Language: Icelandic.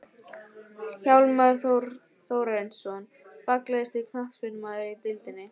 Hjálmar Þórarinsson Fallegasti knattspyrnumaðurinn í deildinni?